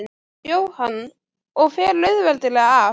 Jóhann: Og fer auðveldlega af?